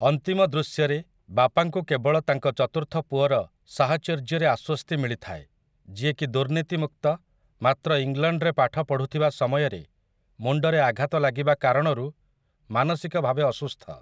ଅନ୍ତିମ ଦୃଶ୍ୟରେ ବାପାଙ୍କୁ କେବଳ ତାଙ୍କ ଚତୁର୍ଥ ପୁଅର ସାହଚର୍ଯ୍ୟରେ ଆଶ୍ୱସ୍ତି ମିଳିଥାଏ, ଯିଏକି ଦୁର୍ନୀତିମୁକ୍ତ ମାତ୍ର ଇଂଲଣ୍ଡରେ ପାଠ ପଢୁଥିବା ସମୟରେ ମୁଣ୍ଡରେ ଆଘାତ ଲାଗିବା କାରଣରୁ ମାନସିକ ଭାବେ ଅସୁସ୍ଥ ।